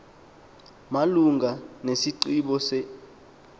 malunga nesigqibo se